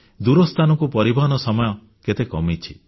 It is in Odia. ଦୂରସ୍ଥାନକୁ ପରିବହନ ସମୟ କେତେ କମିଛି